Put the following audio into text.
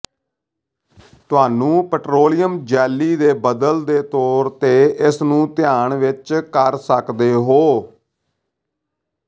ਤੁਹਾਨੂੰ petroleum jelly ਦੇ ਬਦਲ ਦੇ ਤੌਰ ਤੇ ਇਸ ਨੂੰ ਧਿਆਨ ਵਿੱਚ ਕਰ ਸਕਦੇ ਹੋ